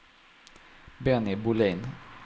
Benny Bolin